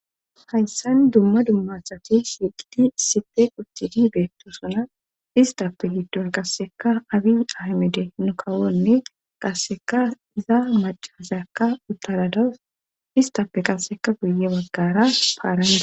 hayssan dumma dummasati siiqidi sipe quchcidi beetto suna istappe giddon qasseka abi ahmide nukawonne qasseka iza macazyakka uttaradawus istappe qasseka guye baggara paarane